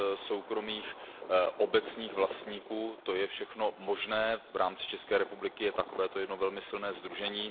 sdružením soukromých a obecních vlastníků, to je všechno možné, v rámci České republiky je takovéto jedno velmi silné sdružení.